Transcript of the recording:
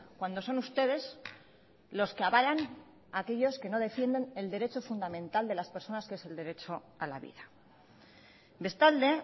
cuando son ustedes los que avalan a aquellos que no defienden el derecho fundamental de las personas que es el derecho a la vida bestalde